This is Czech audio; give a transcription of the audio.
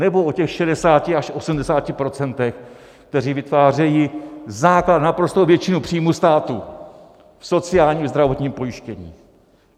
Nebo o těch 60 až 80 %, kteří vytvářejí základ, naprostou většinu příjmů státu v sociálním, zdravotním pojištění?